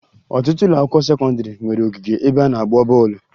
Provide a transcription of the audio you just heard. Ọtụtụ ụlọakwụkwọ sekọndịrị nwere ogige ebe a na-agba bọọlụ